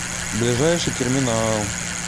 ближайший терминал